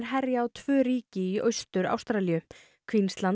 herja á tvö ríki í Austur Ástralíu